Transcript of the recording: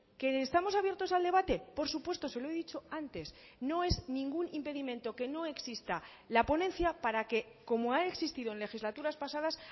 que estamos abiertos al debate por supuesto se lo he dicho antes no es ningún impedimento que no exista la ponencia para que como ha existido en legislaturas pasadas